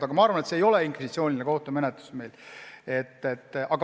Mina arvan, et meil ei ole inkvisitsiooniline kohtumenetlus.